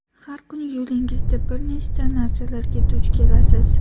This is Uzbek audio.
Har kuni yo‘lingizda bir nechta narsalarga duch kelasiz.